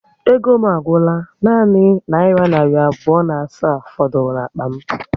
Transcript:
Ego m agwụla, nanị naira narị abụọ na asaa fọdụrụ n'akpa m